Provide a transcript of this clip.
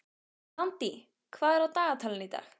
Randý, hvað er á dagatalinu í dag?